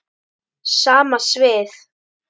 Sama svið.